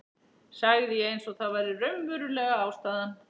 sagði ég eins og það væri raunverulega ástæðan.